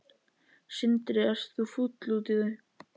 Sindri: Ert þú fúll út í þau?